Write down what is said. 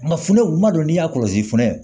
Nga funɛw tuma dɔ n'i y'a kɔlɔsi funtɛnɛn